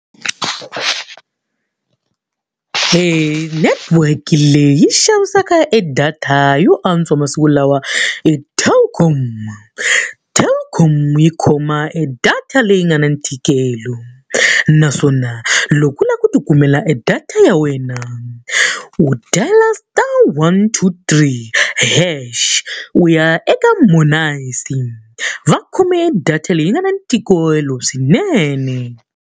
E network leyi yi xavisaka e data yo antswa masiku lawa i Telkom. Telkom yi khoma e data leyi nga na ntikelo, naswona loko u lava ku tikumela e data ya wena u dial-a star one two three hash, u ya eka . Va khome data leyi yi nga na ntikelo swinene.